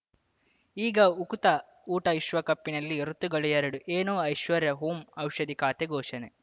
ಈಗ ಉಕುತ ಊಟ ವಿಶ್ವಕಪ್‌ನಲ್ಲಿ ಋತುಗಳು ಎರಡು ಏನು ಐಶ್ವರ್ಯಾ ಓಂ ಔಷಧಿ ಖಾತೆ ಘೋಷಣೆ